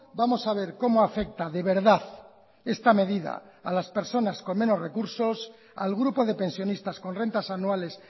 vamos a ver cómo afecta de verdad esta medida a las personas con menos recursos al grupo de pensionistas con rentas anuales